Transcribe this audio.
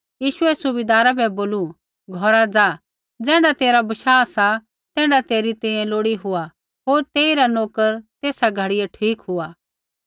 यीशुऐ सुबैदारा बै बोलू घौरा ज़ा ज़ैण्ढा तेरा बशाह सा तैण्ढा तेरी तैंईंयैं लोड़ी हुआ होर तेइरा नोकर तेसा घड़ियै ठीक हुआ